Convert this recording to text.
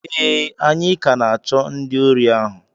ee, anyị ka na-achọ ndị ori ahu